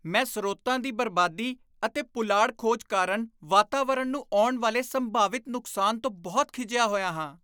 ਮੈਂ ਸਰੋਤਾਂ ਦੀ ਬਰਬਾਦੀ ਅਤੇ ਪੁਲਾੜ ਖੋਜ ਕਾਰਣ ਵਾਤਾਵਰਣ ਨੂੰ ਆਉਣ ਵਾਲੇ ਸੰਭਾਵਿਤ ਨੁਕਸਾਨ ਤੋਂ ਬਹੁਤ ਖਿਝਿਆ ਹੋਇਆ ਹਾਂ।